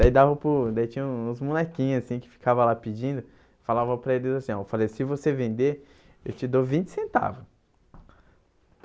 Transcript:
Aí dava para os Daí tinha o uns molequinhos assim que ficavam lá pedindo, eu falava para eles assim ó, eu falei se você vender, eu te dou vinte centavo.